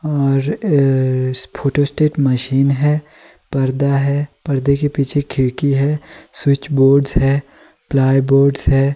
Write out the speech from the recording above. और photo state machine है। पर्दा है। परदे के पीछे खिड़की है। स्विच बोर्डस् है। प्लाईबोर्डस् है।